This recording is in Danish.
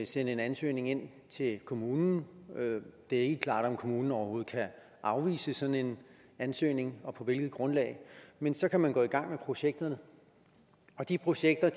sende en ansøgning ind til kommunen det er ikke klart om kommunen overhovedet kan afvise sådan en ansøgning og på hvilket grundlag men så kan man gå i gang med projekterne og de projekter